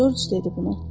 Corc dedi bunu.